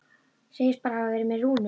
Segist bara hafa verið með Rúnu.